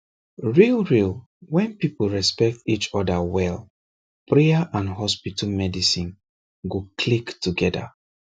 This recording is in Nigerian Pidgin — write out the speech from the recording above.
real real when people respect each other well prayer and hospital medicine go click together